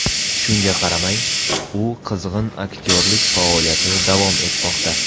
Shunga qaramay, u qizg‘in aktyorlik faoliyatida davom etmoqda.